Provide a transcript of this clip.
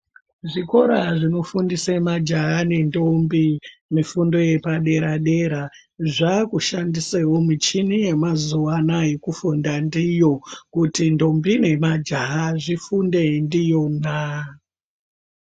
Zvikora zvinofundise majaha nendombi mifundo yepadera-dera zvakushandisewo michini yamazuwa anaya yekufunda ndiyo kuti ndombi nemajaha zvifunde ndiyona.